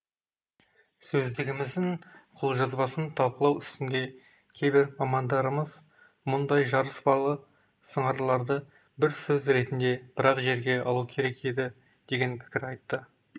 сөздігіміздің қолжазбасын талқылау үстінде кейбір мамандарымыз мұндай жарыспалы сыңарларды бір сөз ретінде бір ақ жерге алу керек еді деген пікір айтты